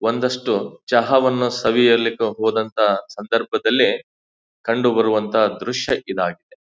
ಒಂದಷ್ಟು ಚಹಾವನ್ನು ಸವಿಯಲಿಕೆ ಹೋದಂತ ಸಂದರ್ಭದಲ್ಲಿ ಕಂಡು ಬರುವ ದೃಶ್ಯ ಇದಾಗಿದೆ.